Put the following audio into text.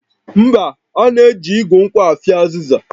Mba, a na-eji igu nkwụ afịọ azịza